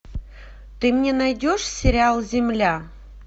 ты мне найдешь сериал земля